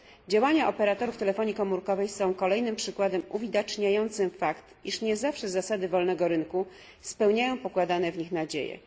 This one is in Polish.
Działania operatorów telefonii komórkowej są kolejnym przykładem uwidaczniającym fakt, iż nie zawsze zasady wolnego rynku spełniają pokładane w nich nadzieje.